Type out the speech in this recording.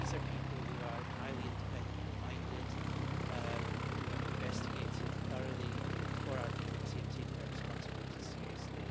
These are people who are highly independently minded, who have investigated thoroughly for our Committee and taken their responsibilities seriously.